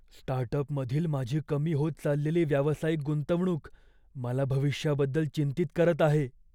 स्टार्टअपमधील माझी कमी होत चाललेली व्यावसायिक गुंतवणूक मला भविष्याबद्दल चिंतित करत आहे.